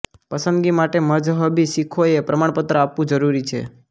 પસંદગી માટે મઝહબી શીખોએ પ્રમાણપત્ર આપવું જરૂરી છે